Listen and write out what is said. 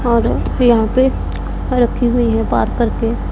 और यहां पे रखी हुई है पार्क करके।